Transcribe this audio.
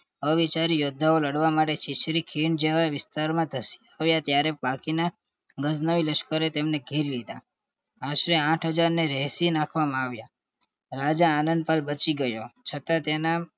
અવિચાર યોદ્ધાઓ લડવા માટે છીછરી ખીણ જેવા વિસ્તાર માં ધશી પડીયા ત્યારે બાકી ના લશ્કરે તેમને ઘેરી લીધા આશરે આઠ હાજરને એશી નાખવામાં આવીયા રાજા આનદપાલ બચી ગયો છતાં તેના